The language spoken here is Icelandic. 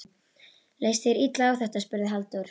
Leist þér illa á þetta? spurði Halldór.